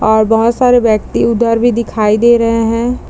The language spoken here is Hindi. और बहुत सारे व्यक्ति उधर भी दिखाई दे रहे है ।